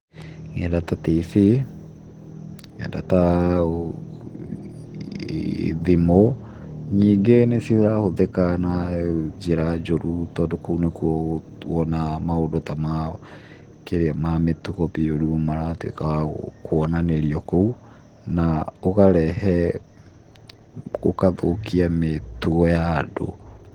Nenda ta tibii, nenda ta thimũ, nyingĩ nĩ cirahũthĩka na njĩra njũru tondũ kũu nĩkuo wonaga ta maũndũ ma mĩtugo mĩũru maratuĩka ma kuonanĩrio kuo, gũkarehe, gũgathũkia mĩtugo ya andũ.